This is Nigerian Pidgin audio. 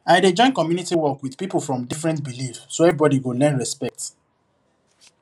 i dey join community work with people from different belief so everybody go learn respect